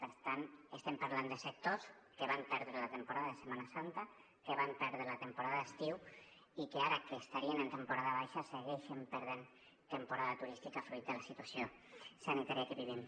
per tant estem parlant de sectors que van perdre la temporada de setmana santa que van perdre la temporada d’estiu i que ara que estarien en temporada baixa segueixen perdent temporada turística fruit de la situació sanitària que vivim